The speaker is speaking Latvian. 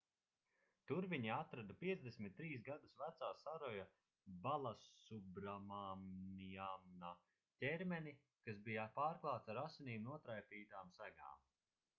tur viņi atrada 53 gadus vecā saroja balasubramaniana ķermeni kas bija pārklāts ar asinīm notraipītām segām